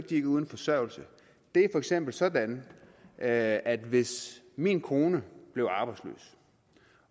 de er uden forsørgelse det er for eksempel sådan at at hvis min kone blev arbejdsløs